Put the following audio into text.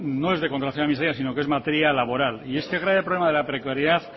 de contratación pública sino que es materia laboral y este grave problema de la precariedad